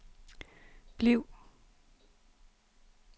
bliv